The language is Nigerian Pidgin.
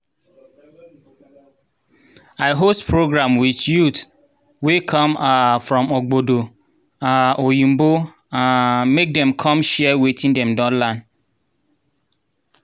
i host program with youth wey come um from ogbodo um oyinbo um make dem come share watin dem don learn